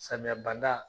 Samiya banda